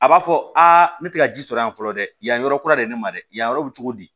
A b'a fɔ a ne tɛ ka ji sɔrɔ yan fɔlɔ dɛ yan yɔrɔ kura de ne ma dɛ yan yɔrɔ bi cogo di